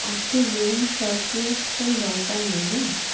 ওতো zoom short নেওয়ার তো কোনো দরকার নেই না?